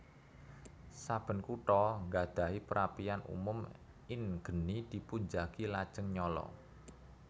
Saben kota ngadahi perapian umum in geni dipunjagi lajeng nyala